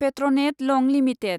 पेट्रनेट लं लिमिटेड